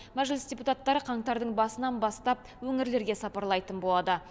мәжіліс депутаттары қаңтардың басынан бастап өңірлерге сапарлайтын болады